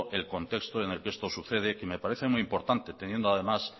el contexto en el que esto sucede y me parece muy importante teniendo además